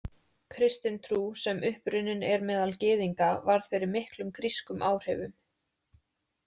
Kristin trú, sem upprunnin er meðal Gyðinga, varð fyrir miklum grískum áhrifum.